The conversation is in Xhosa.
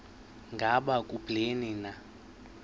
ngaba kubleni na